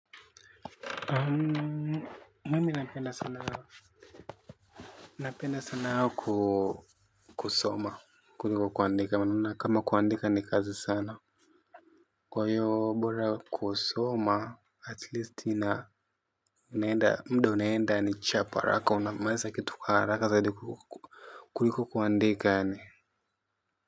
Mimi napenda sanaa. Napenda sana kusoma. Kuliko kuandika maana kama kuandika ni kazi sana. Kwa hio bora kusoma At least nina. Ninaenda muda unaenda kwa haraka unamaliza kitu kwa haraka zaidi kuliko kuandika yaani.